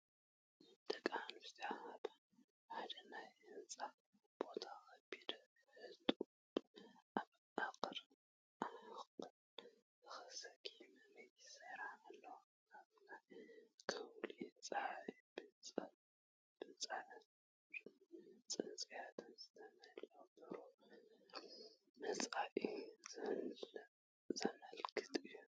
ደቂ ኣንስትዮ ኣብ ሓደ ናይ ህንጻ ቦታ፡ ከቢድ ሕጡብ ኣብ ሕቖአን ተሰኪመን ይሰርሓ ኣለዋ። ኣብ ከውሊ ጸሓይ ብጻዕርን ጽንዓትን ዝተመልአ ብሩህ መጻኢ ዘመልክት እዩ።